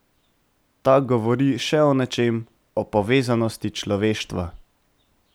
Ta govori še o nečem, o povezanosti človeštva.